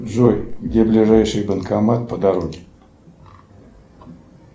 джой где ближайший банкомат по дороге